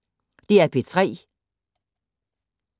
DR P3